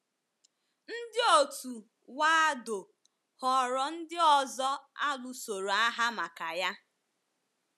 * Ndị òtù Waldo ghọrọ ndị ọzọ a lụsoro agha maka ya.